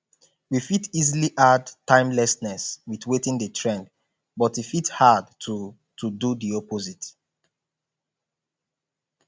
we fit easily add timelessness with wetin dey trend but e fit hard to to do di opposite